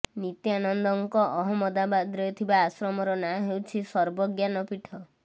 ନିତ୍ୟାନନ୍ଦଙ୍କର ଅହମ୍ମଦାବାଦରେ ଥିବା ଆଶ୍ରମର ନାଁ ହେଉଛି ସର୍ବଜ୍ଞାନ ପୀଠ